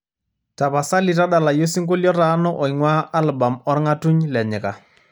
tapasali tadalayu osingolio otaana oing'uaa albam orng'atun le nyika